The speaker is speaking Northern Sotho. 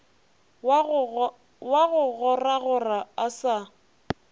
wa go goragora a sa